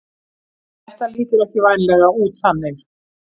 Þetta lítur ekki vænlega út þannig